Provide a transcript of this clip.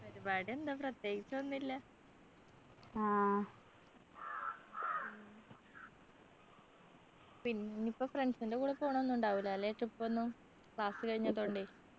പരിപാടി എന്ത് പ്രതേകിച്ചൊന്നും ഇല്ല പിന്നിപ്പോ friends ൻ്റെ കൂടെ പോണൊന്നും ഉണ്ടാവില്ല അല്ലെ trip ഒന്നും class കഴിഞ്ഞതോണ്ടെ